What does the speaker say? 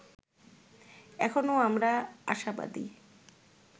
এখনো আমরা আশাবাদী